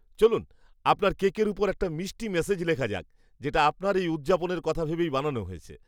চলুন আপনার কেকের ওপর একটা মিষ্টি মেসেজ লেখা যাক, যেটা আপনার এই উদযাপনের কথা ভেবেই বানানো হয়েছে।